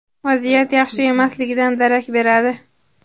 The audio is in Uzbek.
vaziyat yaxshi emasligidan darak beradi.